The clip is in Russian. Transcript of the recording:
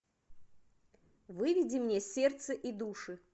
выведи мне сердце и души